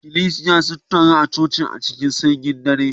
Ikklesiya sun taru a cikin cocin a cikin sanyin dare